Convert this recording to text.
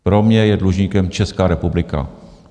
Pro mě je dlužníkem Česká republika.